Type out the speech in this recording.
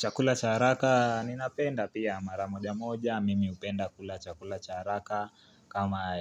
Chakula cha haraka ninapenda pia mara moja moja, mimi hupenda kula chakula cha haraka kama